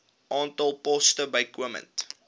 aantal poste bykomend